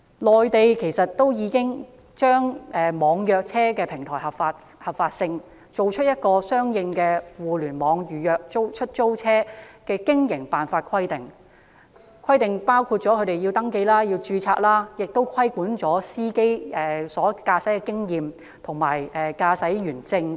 內地已確立網約車服務平台的合法性，並制訂相應的互聯網預約出租車的經營辦法規定，包括規定出租車要登記和註冊、司機須具備若干年期的駕駛經驗及持有駕駛員證等。